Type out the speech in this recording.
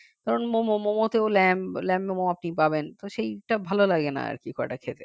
কারণ মোমো মোমোতেও lamb lamb momo আপনি পাবেন তবে সেটা ভালো লাগে না আর কি খুব একটা খেতে